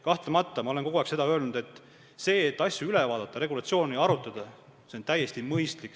Kahtlemata, nagu ma olen kogu aeg öelnud, asju üle vaadata ja regulatsiooni arutada on täiesti mõistlik.